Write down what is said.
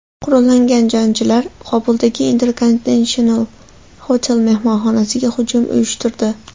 Qurollangan jangarilar Kobuldagi Intercontinental Hotel mehmonxonasiga hujum uyushtirdi.